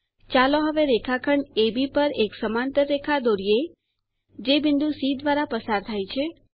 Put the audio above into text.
ચાલો હવે રેખાખંડ અબ પર એક સમાંતર રેખા દોરીએ જે બિંદુ સી દ્વારા પસાર થાય છે